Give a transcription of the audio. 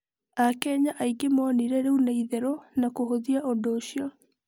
Akenya aingĩ monire rĩu nĩ itherũ na kũhũthia ũndũ ũcio.